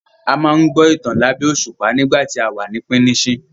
A máa n gbọ́ ìtàn labẹ̀ẹ̀ òṣùpá nígbà tí àwa ní píníṣín